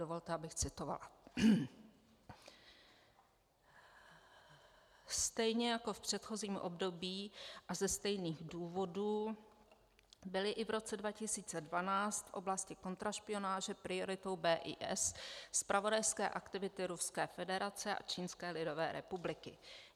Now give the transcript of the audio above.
Dovolte, abych citovala: "Stejně jako v předchozím období a ze stejných důvodů byly i v roce 2012 v oblasti kontrašpionáže prioritou BIS zpravodajské aktivity Ruské federace a Čínské lidové republiky.